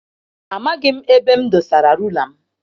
Amaghị m ebe m dosara rula m.